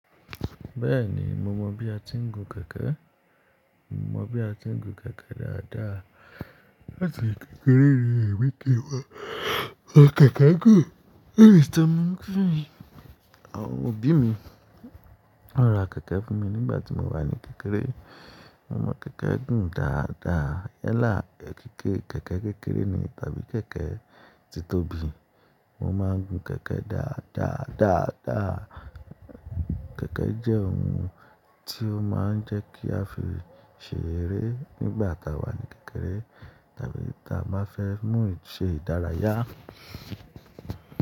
Bẹ́ẹ̀ni, mo mọ bí a ti ń gun kẹ̀kẹ́. Mo mọ bí a ti ń gun kẹ̀kẹ́ dáadáa. Láti kékeré rí emi ti mo, mo kẹ̀kẹ́ gùn. Eru eyi to maa ń gùn mi. Àwọn òbí mi, wọ́n ra kẹ̀kẹ́ fún mi nígbà tí mo wà ní kékeré. Mo mọ kẹ̀kẹ́ gùn dáadáa. Yẹ láì pẹ́ kí kẹ̀kẹ́ kékeré ni tàbí kẹ̀kẹ́ tí tóbi, mo máa ń gun kẹ̀kẹ́ dáadáa, dáadáa. Kẹ̀kẹ́ jẹ́ ohun tí ó máa ń jẹ́ kí a fi ṣèrè nígbà táa wà ní kékeré tàbí táa máa fẹ́ mú ṣe ìdárayá.